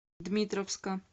дмитровска